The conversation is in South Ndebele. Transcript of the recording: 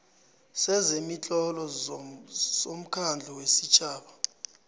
sezemitlolo somkhandlu wesitjhaba